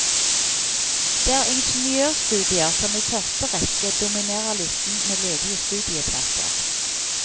Det er ingeniørstudier som i første rekke dominerer listen med ledige studieplasser.